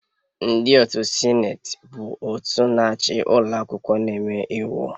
Ndị otu Sineti bụ òtù na-achị ụlọ akwụkwọ na-eme iwu